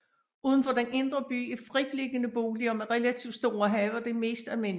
Uden for den indre by er fritliggende boliger med relativt store haver det mest almindelige